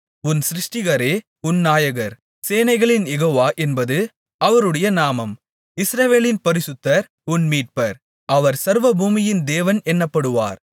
உன் சிருஷ்டிகரே உன் நாயகர் சேனைகளின் யெகோவா என்பது அவருடைய நாமம் இஸ்ரவேலின் பரிசுத்தர் உன் மீட்பர் அவர் சர்வபூமியின் தேவன் என்னப்படுவார்